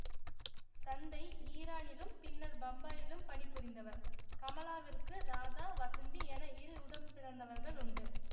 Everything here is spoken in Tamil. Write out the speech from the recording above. தந்தை ஈரானிலும் பின்னர் பம்பாயிலும் பணி புரிந்தவர் கமலாவிற்கு ராதா வசந்தி என இரு உடன்பிறந்தவர்கள் உண்டு